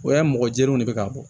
O y'a ye mɔgɔjɛniw de bɛ ka bɔ